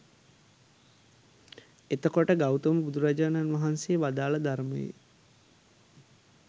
එතකොට ගෞතම බුදුරජාණන් වහන්සේ වදාළ ධර්මයේ